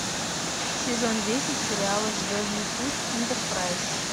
сезон десять сериала звездный путь энтерпрайз